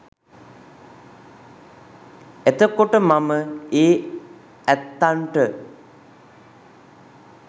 එතකොට මම ඒ ඇත්තන්ට